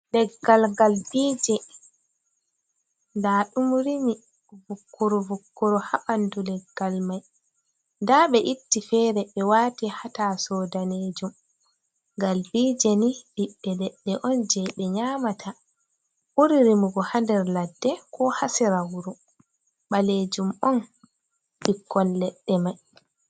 Leggal galbije nda ɗum rimi vukkuru vukkuru ha ɓanɗu leggal mai, nda ɓe itti fere ɓe wati ha tasou danejum. Galbije ni ɓiɓɓe leɗɗe on je ɓe nyamata, ɓuri rimugo ha nder ladde, ko ha sera wuro ɓalejum on ɓikkon leɗɗe mai.